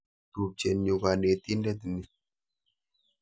Tupchet nyu kanetindet ni.